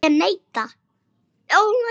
Ég neita.